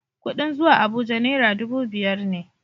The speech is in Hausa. Kuɗin zuwa Abuja naira dubu biyar ne.